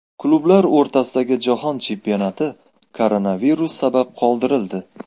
Klublar o‘rtasidagi Jahon chempionati koronavirus sabab qoldirildi.